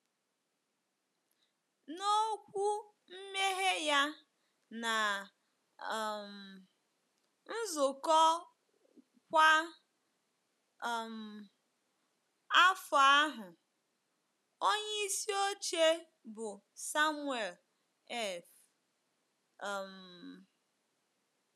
N’okwu mmeghe ya ná um nzukọ kwa um afọ ahụ, onyeisi oche, bụ́ Samuel F um.